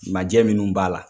Ma jɛ minun b'a la.